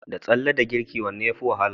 Da tsalle da girki wanne yafi wahala?